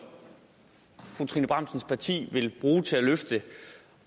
fru trine bramsens parti vil bruge til at løfte